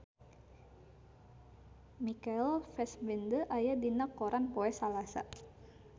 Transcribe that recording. Michael Fassbender aya dina koran poe Salasa